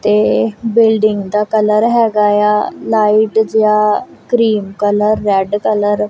ਤੇ ਬਿਲਡਿੰਗ ਦਾ ਕਲਰ ਹਿਗਾਆ ਲਾਈਟ ਜਿਹਾ ਕਰੀਮ ਕਲਰ ਰੈੱਡ ਕਲਰ ।